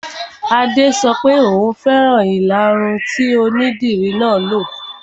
Adé sọ wípé "Ò fẹ́ràn ìlaru tí onídìri náà lo '.